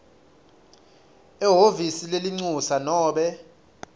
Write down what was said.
ehhovisi lelincusa nobe